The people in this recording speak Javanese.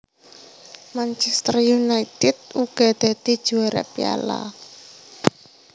Manchester United uga dadi juwara Piala